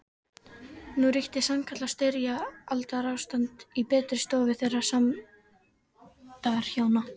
Nú ríkti sannkallað styrjaldarástand í betri stofu þeirra sæmdarhjóna